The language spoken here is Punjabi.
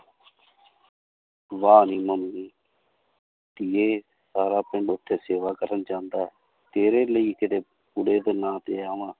ਵਾਹ ਨੀ ਧੀਏ ਸਾਰਾ ਪਿੰਡ ਉੱਥੇ ਸੇਵਾ ਕਰਨ ਜਾਂਦਾ ਹੈ ਤੇਰੇ ਲਈ ਨਾਂ ਤੇ ਆਵਾਂ।